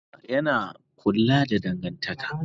Girmama yana kula da dangantaka